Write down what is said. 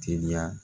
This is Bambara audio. Teliya